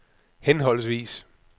henholdsvis